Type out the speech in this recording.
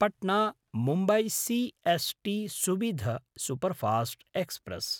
पट्ना–मुम्बय् C S T Suvidha superfast express